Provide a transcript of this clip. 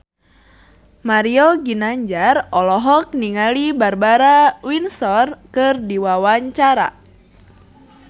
Mario Ginanjar olohok ningali Barbara Windsor keur diwawancara